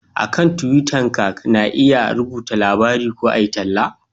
A kan tuwita ka na iya rubuta labarai ko a yi talla